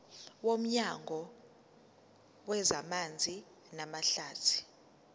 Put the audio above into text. nomnyango wezamanzi namahlathi